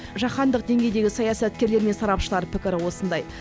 жаһандық деңгейдегі саясаткерлер мен сарапшылар пікірі осындай